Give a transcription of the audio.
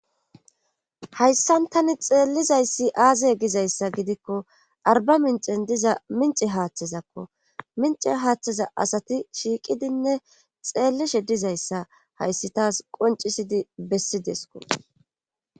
hayssan tani xeellizayssi aaze gizayssa gidikko arba mincen diza mince haaththezakko mince haaththeza asati shiiqidinne xeellishe dizayssa hayssi taas qoncisidi bessi desko